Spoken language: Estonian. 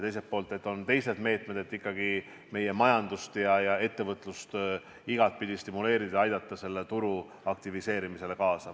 On ka teised meetmed, et ikkagi meie majandust ja ettevõtlust igapidi stimuleerida ja aidata turu aktiviseerimisele kaasa.